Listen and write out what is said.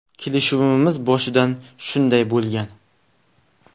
Kelishuvimiz boshidan shunday bo‘lgan.